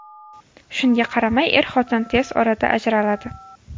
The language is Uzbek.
Shunga qaramay, er-xotin tez orada ajraladi.